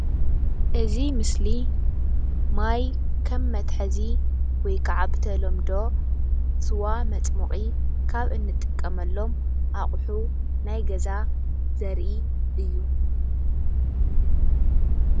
እዚ ምስሊ ማይ ከም መትሓዚ ወይ ክዓ ብተለምዶ ስዋ መፅሞቒ ካብ እንጥቀመሎም ኣቑሑ ናይ ገዛ ዘርኢ እዩ።